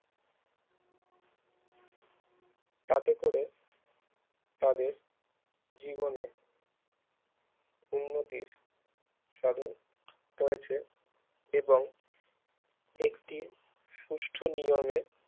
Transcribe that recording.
তাতে করে তাদের জীবনে উন্নতির সাধন হয়েছে এবং একটি সুষ্ট নিয়মের